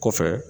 Kɔfɛ